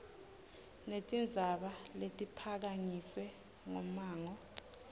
netindzaba letiphakanyiswe ngummango